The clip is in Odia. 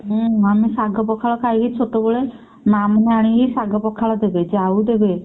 ହୁଁ ଆମେ ଶାଗ ପଖାଳ ଖାଇକି ଛୋଟବେଳେ ମା ମାନେ ଆଣିକି ଶାଗ ପଖାଳ ଦେବେ ଜାଉ ଦେବେ।